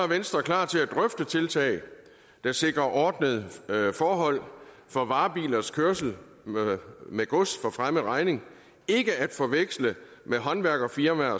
venstre klar til at drøfte tiltag der sikrer ordnede forhold for varebilers kørsel med med gods for fremmed regning ikke at forveksle med håndværkerfirmaer